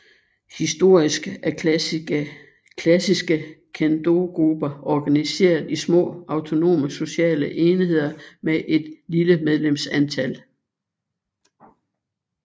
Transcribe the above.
Historisk er klassiske Kendogrupper organiseret i små autonome sociale enheder med et lille medlemsantal